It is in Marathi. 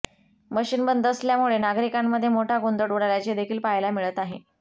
मशीन बंद असल्यामुळे नागरिकांमध्ये मोठा गोंधळ उडाल्याचे देखील पहायला मिळत आहे